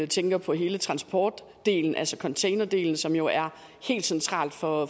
tænker på hele transportdelen altså containerdelen som jo er helt central for